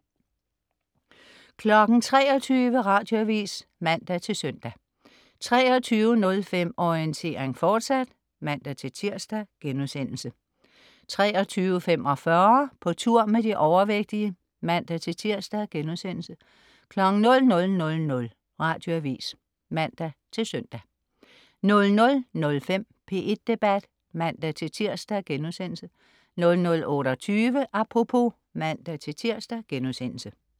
23.00 Radioavis (man-søn) 23.05 Orientering, fortsat (man-tirs)* 23.45 På tur med de overvægtige (man-tirs)* 00.00 Radioavis (man-søn) 00.05 P1 Debat (man-tirs)* 00.28 Apropos (man-tirs)*